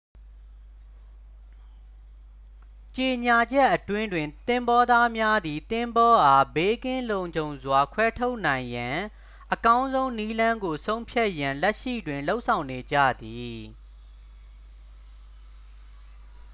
ကြေညာချက်အတွင်းတွင် သင်္ဘောသားများသည် သင်္ဘောအား ဘေးကင်းလုံခြုံစွာ ခွဲထုတ်နိုင်ရန် အကောင်းဆုံးနည်းလမ်းကို ဆုံးဖြတ်ရန် လက်ရှိတွင် လုပ်ဆောင်နေကြသည်